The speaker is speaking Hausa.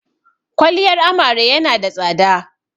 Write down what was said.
Kwaliyar amare ya na da tsada